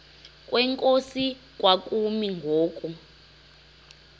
kwenkosi kwakumi ngoku